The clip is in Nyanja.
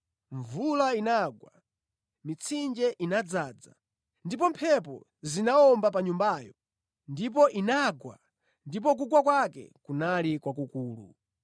Mvula inagwa, mitsinje inadzaza, ndi mphepo zinawomba pa nyumbayo, ndipo inagwa ndipo kugwa kwake kunali kwakukulu.”